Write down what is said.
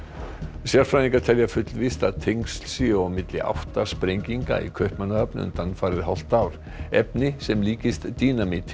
sérfræðingar telja fullvíst að tengsl séu á milli átta sprenginga í Kaupmannahöfn undanfarið hálft ár efni sem líkist